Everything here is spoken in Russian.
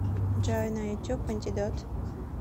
джой на ютуб антидот